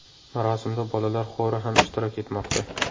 Marosimda bolalar xori ham ishtirok etmoqda.